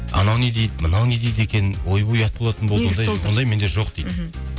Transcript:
анау не дейді мынау дейді екен ойбай ұят болатын болды ондай мен жоқ дейді мхм